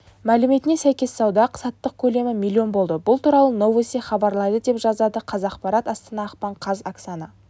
мәліметіне сәйкессауда-саттық көлемі млн болды бұл туралы новости хабарлайды деп жазады қазақпарат астана ақпан қаз оксана